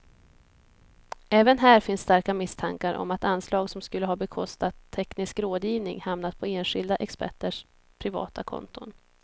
Även här finns starka misstankar om att anslag som skulle ha bekostat teknisk rådgivning hamnat på enskilda experters privata konton.